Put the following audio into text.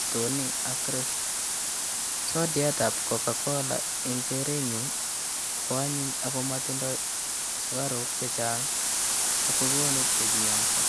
Stoney ak Krest. Sodiatab cocacola eng' kerenyu koanyiny ako matindoi sukaruk chechang' ako konu kebiong'so.